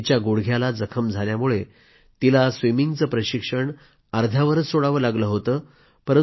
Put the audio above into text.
तिच्या गुडघ्याला जखम झाल्यामुळं तिला स्विमिंगचं प्रशिक्षण अर्ध्यावरच सोडावं लागलं होतं